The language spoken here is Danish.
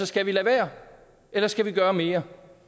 skal vi lade være eller skal vi gøre mere